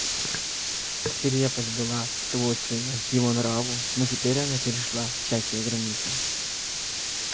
свирепость была свойственна его нраву но теперь она перешла всякие границы